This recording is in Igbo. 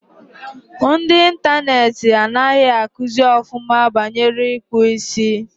Ndi Interneeti angahi akuzi ofuma banyere ikpu isi